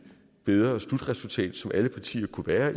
bedre slutresultat som alle partier kunne være